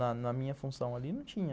Na minha função ali não tinha.